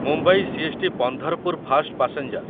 Mumbai CST. Pandharpur fast passenger